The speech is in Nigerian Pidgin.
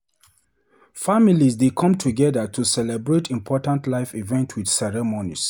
Family dey come together to celebrate important life events with ceremonies.